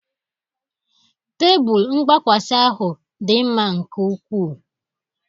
Tebụl mgbakwasa ahụ dị mma nke ukwuu